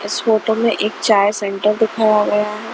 इस फोटो में एक चाय सेंटर दिखा हुआ है.